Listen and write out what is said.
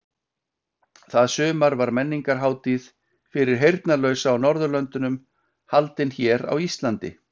Það sumar var menningarhátíð fyrir heyrnarlausa á Norðurlöndunum haldin hér á Íslandi.